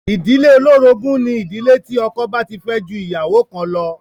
Ìdílé olórogún ni ìdílé tí ọkọ bá ti fẹ́ ju ìyàwó kan lọ.